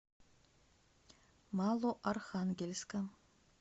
малоархангельска